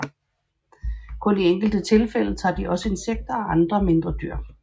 Kun i enkelte tilfælde tager de også insekter og andre mindre dyr